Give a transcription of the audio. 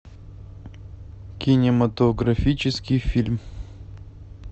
кинематографический фильм